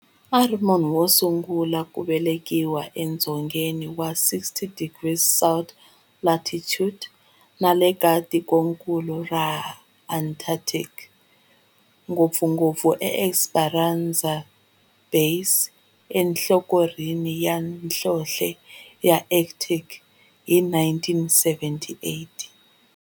A ri munhu wosungula ku velekiwa edzongeni wa 60 degrees south latitude nale ka tikonkulu ra Antarctic, ngopfungopfu eEsperanza Base enhlohlorhini ya nhlonhle ya Antarctic hi 1978.